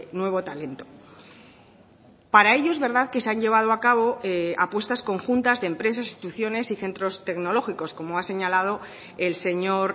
nuevo talento para ello es verdad que se han llevado a cabo apuestas conjuntas de empresas instituciones y centros tecnológicos como ha señalado el señor